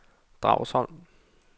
Dragsholm